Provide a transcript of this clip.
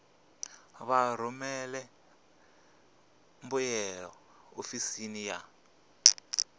vha rumele mbuyelo ofisini ya